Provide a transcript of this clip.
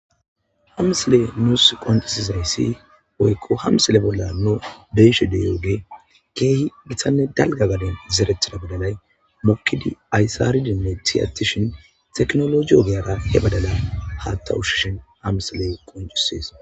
amisle nuus qonxisi zereyssi oykko hamsele bolla no beeshe deyooge keehi githanne dalga gaden zerethida badalay mokidi aysaridinne tiyatishin teknoloji ogeyara he badala haatta ushshishin amsiley qoncisees